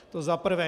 To zaprvé.